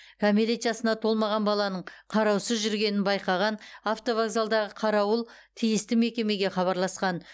кәмелет жасына толмаған баланың қараусыз жүргенін байқаған автовокзалдағы қарауыл тиісті мекемеге хабарласқан